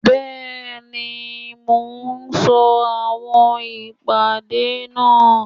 Bẹ́ẹ̀ni, mo ń sọ àwọn ìpèdè náà